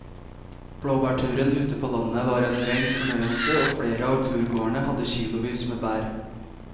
Blåbærturen ute på landet var en rein fornøyelse og flere av turgåerene hadde kilosvis med bær.